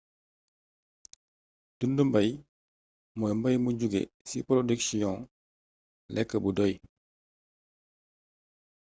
dundu mbaay moy mbaay bu jugge ci porodiksiyon lekk bu doy